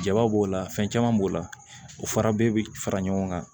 Jaba b'o la fɛn caman b'o la u farabe bɛ fara ɲɔgɔn kan